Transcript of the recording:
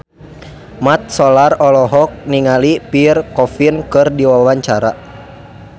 Mat Solar olohok ningali Pierre Coffin keur diwawancara